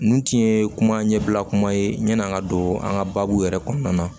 Ninnu tun ye kuma ɲɛbila kuma ye ɲɛn'an ka don an ka baabu yɛrɛ kɔnɔna na